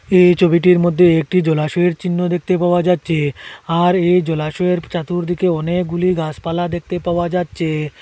এই ছবিটির মধ্যে একটি জলাশয়ের চিহ্ন দেখতে পাওয়া যাচ্ছে আর এই জলাশয়ের চাতুর্দিকে অনেকগুলি গাছপালা দেখতে পাওয়া যাচ্ছে।